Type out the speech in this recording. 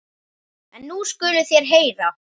En nú skuluð þér heyra.